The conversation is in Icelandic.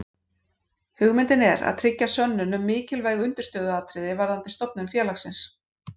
Hugmyndin er að tryggja sönnun um mikilvæg undirstöðuatriði varðandi stofnun félagsins.